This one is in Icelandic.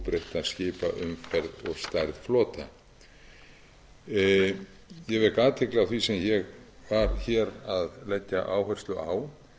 við óbreytta skipaumferð og stærð flota ég vek athygli á því sem ég var hér að leggja áherslu á